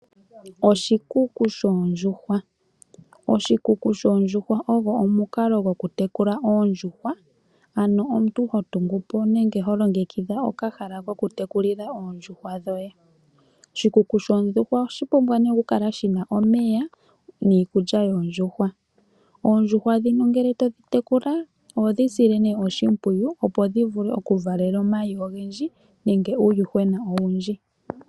Oshikuku shoondjuhwa, oshikuku shoondjuhwa ogo omunkalo goku tekula oondjuhwa, ano omuntu hotungupo nenge holongekidha okahala koku tekulila oondjuhwa dhoye , oshikuku shoondjuhwa ohashi pumbwa ne oku kala shina omeya niikulya yondjuhwa , ondjuhwa dhino ngele todhi tekula ohodhi sile ne oshipwiyu opo dhivule okuvala omayi ongendji nenge uuyuhwena owundji.